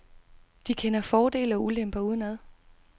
De kender fordele og ulemper udenad.